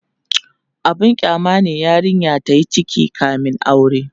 abun kyama ne yarinya tayi ciki kamin aure